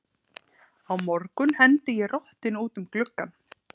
Á morgun hendi ég rottunni út um gluggann.